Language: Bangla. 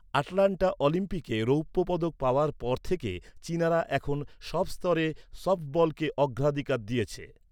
আটলান্টা অলিম্পিকে রৌপ্য পদক পাওয়ার পর থেকে চীনারা এখন সব স্তরে সফটবলকে অগ্রাধিকার দিয়েছে।